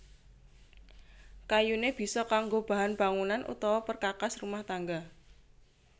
Kayuné bisa kanggo bahan bangunan utawa perkakas rumah tangga